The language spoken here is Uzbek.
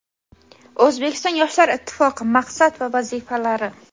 O‘zbekiston yoshlar ittifoqi maqsad va vazifalari.